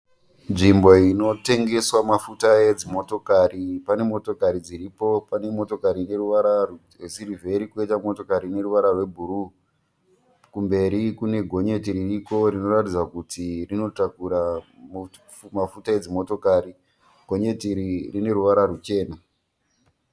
Nzvimbo inotengeswa mafuta edzimotokari. Pane motokari dziripo, pane motokari ine ruvara rwesirivheri koita motokari ine ruvara rwe bhuruwu. Kumberi kune gonyeti ririko rinoratidza kuti rinotakura mafuta edzimotokari. Gonyeti iri rine ruvara rwuchena.